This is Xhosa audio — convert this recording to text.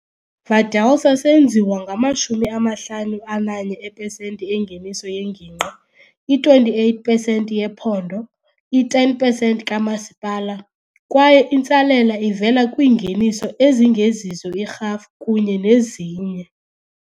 Valdelsa senziwa ngama-51 epesenti engeniso yengingqi, i-28 pesenti yephondo, i-10 pesenti kamasipala, kwaye intsalela ivela kwiingeniso ezingezizo irhafu kunye nezinye.